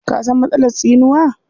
Ka san matsalar tsinuwa?